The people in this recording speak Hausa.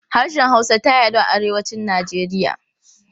Harshen Hausa ta yaɗu a Arewacin Najeriya.